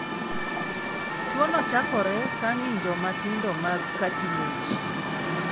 Tuwono chakore ka ng'injo matindo mag cartilage.